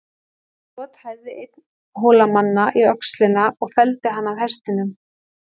Skot hæfði einn Hólamanna í öxlina og felldi hann af hestinum.